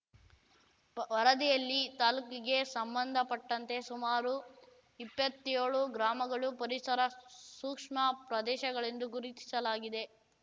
ವರದಿಯಲ್ಲಿ ತಾಲೂಕಿಗೆ ಸಂಬಂಧಪಟ್ಟಂತೆ ಸುಮಾರು ಇಪ್ಪತ್ತ್ಯೋಳು ಗ್ರಾಮಗಳು ಪರಿಸರ ಸೂಕ್ಷ್ಮ ಪ್ರದೇಶಗಳೆಂದು ಗುರುತಿಸಲಾಗಿದೆ